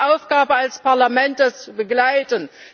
Es ist unsere Aufgabe als Parlament, das zu begleiten.